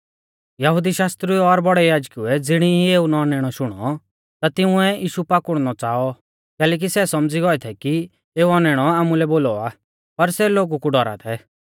यहुदी शास्त्रिउऐ और बौड़ै याजकुऐ ज़िणी ई एऊ औनैणौ शुणौ ता तिंउऐ यीशु पाकुड़नौ च़ाऔ कैलैकि सै सौमझ़ी गौऐ थै कि एऊ औनैणौ आमुलै बोलौ आ पर सै लोगु कु डौरा थै